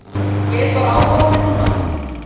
Ég er bara áhorfandi núna.